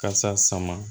Kasa sama